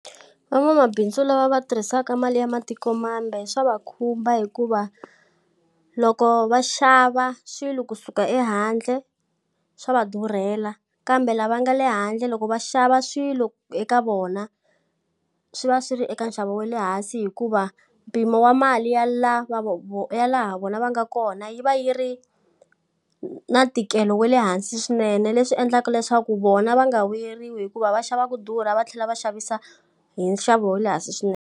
Van'wamabindzu lava va tirhisaka mali ya matikomambe swa va khumba hikuva, loko va xava swilo kusuka ehandle swa va durhela kambe lava nga le handle loko va xava swilo eka vona, swi va swi ri eka nxavo wa le hansi hikuva mpimo wa mali ya laha vona va nga kona yi va yi ri na ntikelo wa le hansi swinene. Leswi endlaka leswaku vona va nga vuyeriwi hikuva va xava ku durha va tlhela va xavisa hi nxavo wa le hansi swinene.